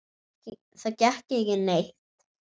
Það gekk ekki neitt.